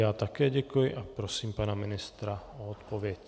Já také děkuji a prosím pana ministra o odpověď.